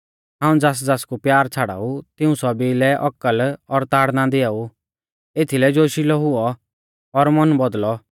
हाऊं ज़ासज़ासकु प्यार छ़ाड़ाऊ तिऊं सौभी लै औकल और ताड़ना दिआऊ एथीलै जोशिलै हुऔ और मन बौदल़ौ